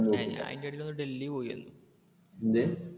ഞാൻ അതിന്റെ ഇടയിൽ ഒന്ന് ഡൽഹി പോയിവന്നു.